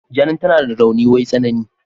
Jane tana da rauni wai tsanani.